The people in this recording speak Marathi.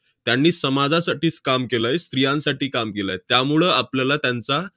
त्यांनी समाजासाठीच काम केलंय, स्त्रियांसाठी काम केलंय. त्यामुळं आपल्याला त्यांचा